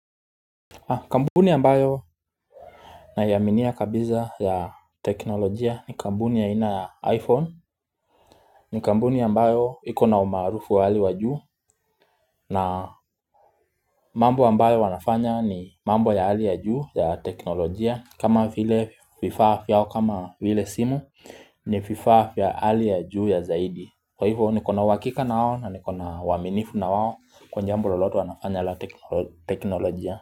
Kampuni ambayo naiaminia kabisa ya teknolojia ni kampuni ya aina ya iPhone ni kambuni ya mbayo iko na umaarufu wa hali wa juu na mambo ambayo wanafanya ni mambo ya hali ya juu ya teknolojia kama vile vifaa vyao kama vile simu ni vifaa vya hali ya juu ya zaidi Kwa hivyo nikona uhakika na wao na nikona uwaminifu na wao Kwa jambo loloto wanafanya la teknolojia.